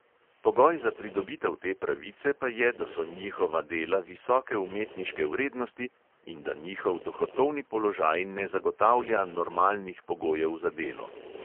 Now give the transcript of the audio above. Pogoj za pridobitev te pravice pa je, da so njihova dela visoke umetniške vrednosti in da njihov dohodkovni položaj ne zagotavlja normalnih pogojev za delo.